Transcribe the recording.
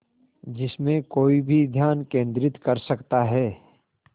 जिसमें कोई भी ध्यान केंद्रित कर सकता है